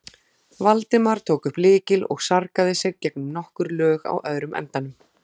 Valdimar tók upp lykil og sargaði sig gegnum nokkur lög á öðrum endanum.